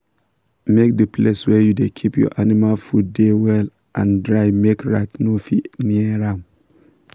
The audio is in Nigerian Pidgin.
make the place wey you da keep your animal food da well and dry make rat no fit near am